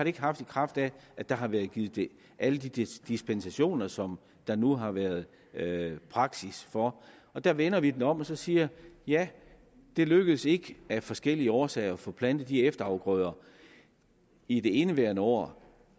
ikke haft i kraft af at der har været givet alle de dispensationer som der nu har været praksis for der vender vi den om og siger ja det lykkedes ikke af forskellige årsager at få plantet de efterafgrøder i det indeværende år